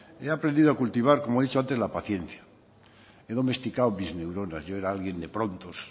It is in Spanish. he aprendido a cultivar como he dicho antes la paciencia he domesticado mis neuronas yo era alguien de prontos